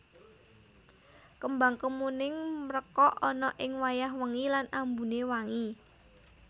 Kembang kemuning mrekok ana ing wayah wengi lan ambuné wangi